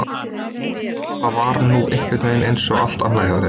En hvað það var nú einhvernveginn einsog allt annað hjá þér!